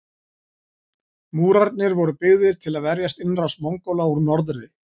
Múrarnir voru byggðir til að verjast innrás Mongóla úr norðri.